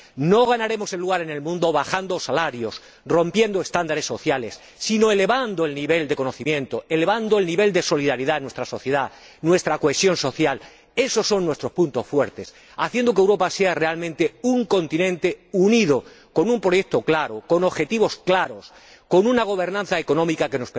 No ganaremos un lugar en el mundo bajando salarios, rompiendo estándares sociales, sino elevando el nivel de conocimiento, elevando el nivel de solidaridad en nuestra sociedad, nuestra cohesión social —esos son nuestros puntos fuertes—, haciendo que Europa sea realmente un continente unido, con un proyecto claro, con objetivos claros, con una gobernanza económica que